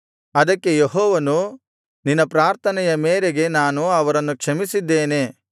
ಅದಕ್ಕೆ ಯೆಹೋವನು ನಿನ್ನ ಪ್ರಾರ್ಥನೆಯ ಮೇರೆಗೆ ನಾನು ಅವರನ್ನು ಕ್ಷಮಿಸಿದ್ದೇನೆ